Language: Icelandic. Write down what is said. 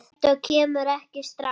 Strætó kemur ekki strax.